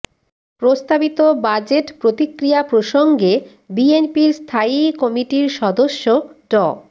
প্রস্তাবিত বাজেট প্রতিক্রিয়া প্রসঙ্গে বিএনপির স্থায়ী কমিটির সদস্য ড